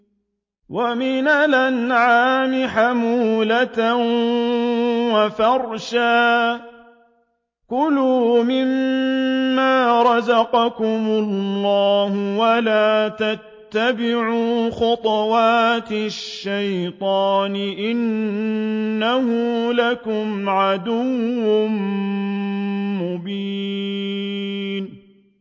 وَمِنَ الْأَنْعَامِ حَمُولَةً وَفَرْشًا ۚ كُلُوا مِمَّا رَزَقَكُمُ اللَّهُ وَلَا تَتَّبِعُوا خُطُوَاتِ الشَّيْطَانِ ۚ إِنَّهُ لَكُمْ عَدُوٌّ مُّبِينٌ